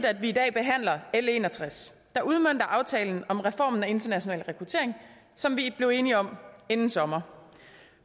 at vi i dag behandler l en og tres der udmønter aftalen om reformen af international rekruttering som vi blev enige om inden sommer